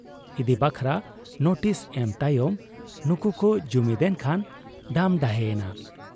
ᱤᱫᱤ ᱵᱟᱠᱷᱨᱟ ᱱᱳᱴᱤᱥ ᱮᱢ ᱛᱟᱭᱚᱢ ᱱᱩᱠᱩ ᱠᱚ ᱡᱩᱢᱤᱫᱽ ᱮᱱ ᱠᱷᱟᱱ ᱰᱟᱢ ᱰᱟᱦᱮ ᱮᱱᱟ ᱾